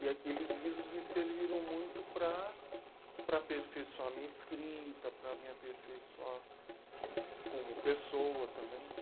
E aqueles livros me serviram muito para, para aperfeiçoar a minha escrita, para me aperfeiçoar como pessoa também, né?